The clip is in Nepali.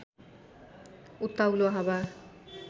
उत्ताउलो हावा